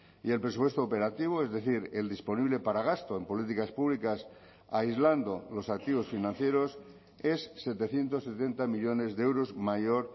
y el presupuesto operativo es decir el disponible para gasto en políticas públicas aislando los activos financieros es setecientos setenta millónes de euros mayor